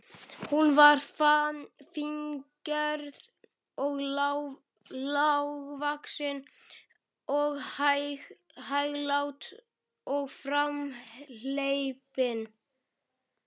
Hún var fíngerð og lágvaxin og hæglát og framhleypin.